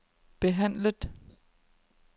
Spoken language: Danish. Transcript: behandlet